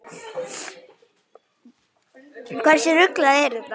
Hversu ruglað er þetta?